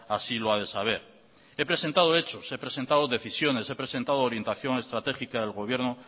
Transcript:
así lo ha de saber he presentado hechos he presentado decisiones he presentado orientación estratégica del gobierno